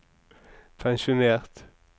pensjonert